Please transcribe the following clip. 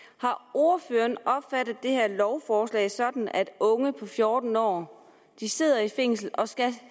ordføreren opfattet det her lovforslag sådan at unge på fjorten år sidder i fængsel og skal